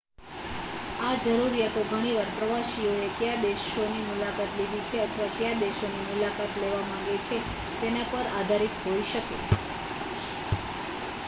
આ જરૂરિયાતો ઘણી વાર પ્રવાસીએ કયા દેશોની મુલાકાત લીધી છે અથવા કયા દેશોની મુલાકાત લેવા માગે છે તેના પર આધારિત હોઈ શકે